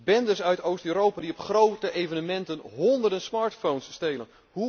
Bendes uit Oost Europa die op grote evenementen honderden smartphones stelen.